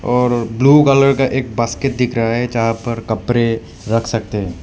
और blue colour का एक बास्केट दिख रहा है जहां पर कपड़े रख सकते हैं।